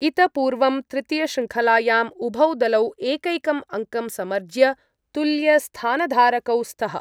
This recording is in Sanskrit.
इत पूर्वं तृतीयशृङ्खलायाम् उभौ दलौ एकैकम् अङ्कं समर्ज्य तुल्यस्थानधारकौ स्तः।